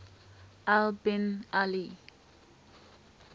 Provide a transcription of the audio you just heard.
al bin ali